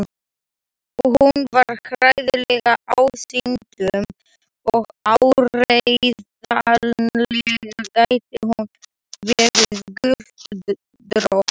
Hún var hræðileg ásýndum og áreiðanlega gæti hún verið göldrótt.